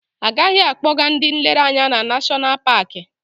Agaghị akpọ ga ndị nlereanya na Nashọnal Paki.